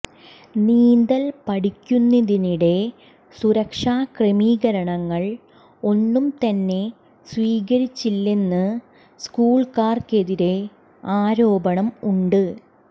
നീന്തൽ പഠിപ്പിക്കുന്നതിനിടെ സുരക്ഷാ ക്രമീകരണങ്ങൾ ഒന്നും തന്നെ സ്വീകരിച്ചിരുന്നില്ലെന്ന് സ്കൂളുകാർക്കെതിരെ ആരോപണം ഉണ്ട്